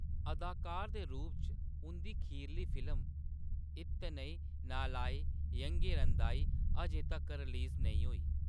अदाकार दे रूप च उंʼदी खीरली फिल्म इत्नई नालाई येंगिरंदाई अजें तक्कर रिलीज नेईं होई ।